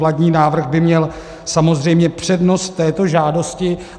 Vládní návrh by měl samozřejmě přednost této žádosti.